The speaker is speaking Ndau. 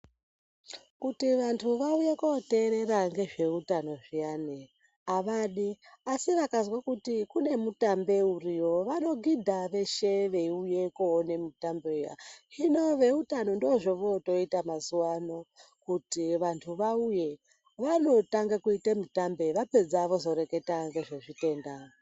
Kuti vantu vauye kuoteerera ngezveutano zviyani avadi, asi vakazwe kuti kune mutambe uriyo vanogidha veshe veiuye kuoone mutambe uya. Hino veutano ndoozvovooita mazuvano kuti vantu vauye, vanotanga kuite mutambe vapedza vozoreketa ngezvezvitenda.